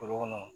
Foro kɔnɔ